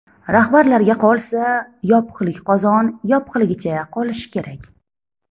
Rahbarlarga qolsa, yopiqlik qozon yopiqligicha qolishi kerak.